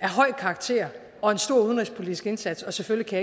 af høj karakter og en stor udenrigspolitisk indsats og selvfølgelig kan